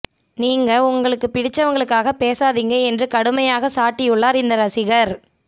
நீங்க உங்களுக்கு பிடிச்சவங்களுக்காக பேசாதீங்க என்று கடுமையாக சாடியுள்ளார் இந்த ரசிகர்